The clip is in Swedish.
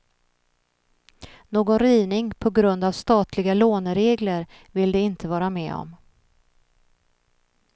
Någon rivning på grund av statliga låneregler vill de inte vara med om.